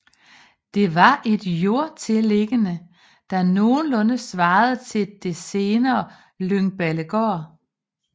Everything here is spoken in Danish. Det var et jordtilliggende der nogenlunde svarede til det senere Lyngballegård